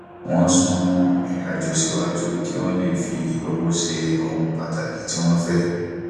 wọn sún irinàjò síwájú kí wọn lè fi owó ṣe ohun pàtàkì tí wón fẹ